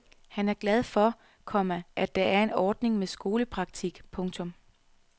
Han er glad for, komma at der er en ordning med skolepraktik. punktum